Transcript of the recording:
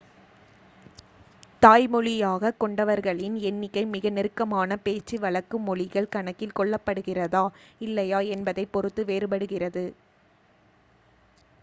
தாய்மொழியாகக் கொண்டவர்களின் எண்ணிக்கை மிக நெருக்கமான பேச்சு வழக்கு மொழிகள் கணக்கில் கொள்ளப்படுகிறதா இல்லையா என்பதைப் பொறுத்து வேறுபடுகிறது